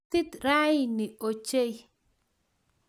Kaitit raini ochei